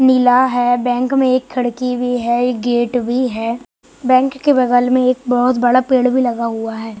नीला है बैंक में एक खिड़की भी है एक गेट भी है बैंक के बगल में एक बहुत बड़ा पेड़ भी लगा हुआ है।